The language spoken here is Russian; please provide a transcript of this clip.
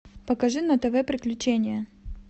покажи на тв приключения